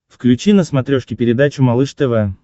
включи на смотрешке передачу малыш тв